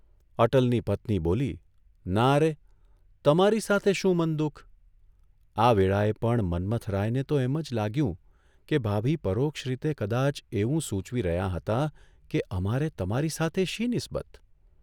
અટલની પત્ની બોલીઃ ' નારે, તમારી સાથે શું મન દુઃખ?" આ વેળાએ પણ મન્મથરાયને તો એમ જ લાગ્યું કે ભાભી પરોક્ષ રીતે કદાચ એવું સૂચવી રહ્યાં હતાં કે અમારે તમારી સાથે શી નિસ્બત?